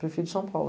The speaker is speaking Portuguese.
Prefiro São Paulo.